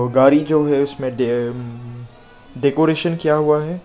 और गाड़ी जो है इसमें डे डेकोरेशन किया हुआ है।